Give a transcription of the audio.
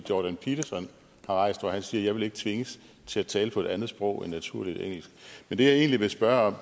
jordan peterson har rejst hvor han siger jeg vil ikke tvinges til at tale på et andet sprog end naturligt engelsk men det jeg egentlig vil spørge om